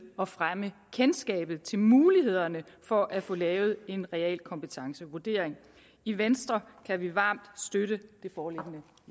og fremme kendskabet til og mulighederne for at få lavet en realkompetencevurdering i venstre kan vi varmt støtte det foreliggende